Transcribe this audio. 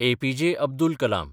APJ. Abdul Kalam